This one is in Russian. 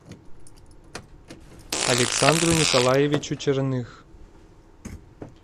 александру николаевичу черных